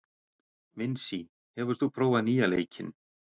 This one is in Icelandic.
Vinsý, hefur þú prófað nýja leikinn?